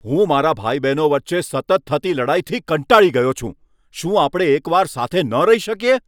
હું મારા ભાઈ બહેનો વચ્ચે સતત થતી લડાઈથી કંટાળી ગયો છું. શું આપણે એક વાર સાથે ન રહી શકીએ?